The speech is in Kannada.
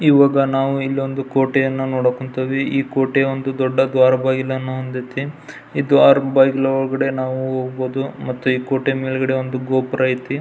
ಇವಾಗ ನಾವು ಇಲ್ಲೊಂದು ಕೋಟೆಯನ್ನ ನೋಡಕುತದ್ವಿ ಈ ಕೋಟೆ ಒಂದು ದೊಡ್ಡ ದ್ವಾರ ಬಾಗಿಲನ್ನು ಹೊದೈತಿ ಈ ದ್ವಾರ ಬಾಗಿಲು ಒಲ್ಗಡೆ ನಾವು ಹೋಗ್ಬಹುದು ಮತ್ತೆ ಈ ಕೋಟೆ ಒಳಗಡೆ ಗೋಪುರ ಅಯ್ತಿ.